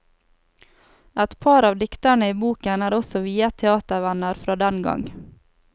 Et par av diktene i boken er også viet teatervenner fra den gang.